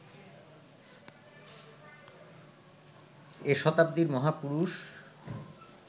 এ শতাব্দীর মহাপুরুষ